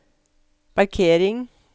parkering